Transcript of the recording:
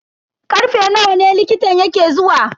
Karfe nawa ne likitan yake zuwa?